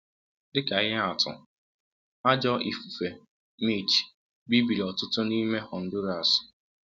Dị ka ihe atụ, ajọ ifufe Mitch bibiri ọtụtụ n’ime Honduras.